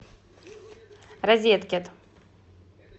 розеткет